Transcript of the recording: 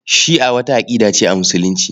Shi'a wata aƙida ce a Musulunci.